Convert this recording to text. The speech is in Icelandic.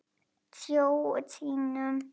Sjö sinnum.